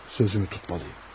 Sözümü tutmalıyım.